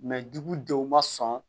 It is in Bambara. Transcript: dugudenw ma sɔn